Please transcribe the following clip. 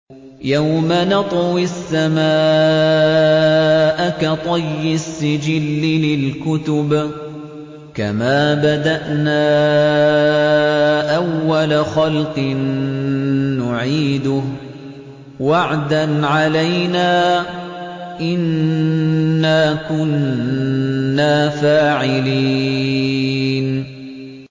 يَوْمَ نَطْوِي السَّمَاءَ كَطَيِّ السِّجِلِّ لِلْكُتُبِ ۚ كَمَا بَدَأْنَا أَوَّلَ خَلْقٍ نُّعِيدُهُ ۚ وَعْدًا عَلَيْنَا ۚ إِنَّا كُنَّا فَاعِلِينَ